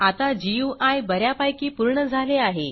आता गुई ब यापैकी पूर्ण झाले आहे